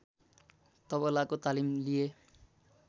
तबलाको तालिम लिए